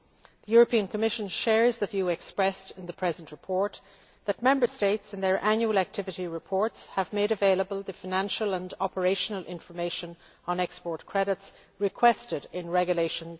The European Commission shares the view expressed in the present report that Member States in their annual activity reports have made available the financial and operational information on export credits requested in Regulation